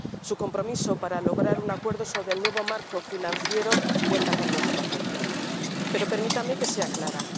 Su compromiso para lograr un acuerdo sobre el nuevo marco financiero cuenta con nuestro apoyo, pero permítame que sea clara.